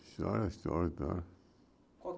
História, história, história.